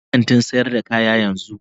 Bar kantin sayar da kaya yanzu.